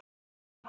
Þín, Oddný.